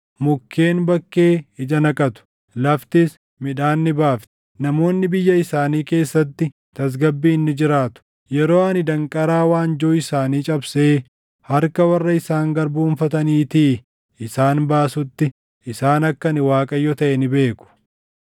Mukkeen bakkee ija naqatu; laftis midhaan ni baafti; namoonni biyya isaanii keessatti tasgabbiin ni jiraatu. Yeroo ani danqaraa waanjoo isaanii cabsee harka warra isaan garboomfataniitii isaan baasutti, isaan akka ani Waaqayyo taʼe ni beeku.